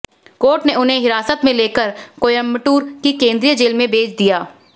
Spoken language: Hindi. कोर्ट ने उन्हें हिरासत में लेकर कोयम्बटूर की केंद्रीय जेल में भेज दिया